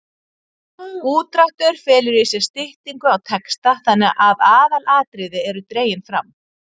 Útdráttur felur í sér styttingu á texta þannig að aðalatriði eru dregin fram.